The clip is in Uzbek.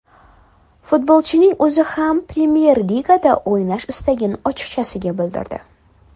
Futbolchining o‘zi ham Premyer Ligada o‘ynash istagini ochiqchasiga bildirdi.